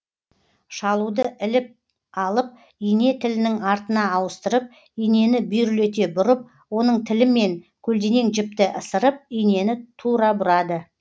шалуды іліп алып ине тілінің артына ауыстырып инені бүйірлете бұрып оның тілімен көлденең жіпті ысырып инені тура бұрады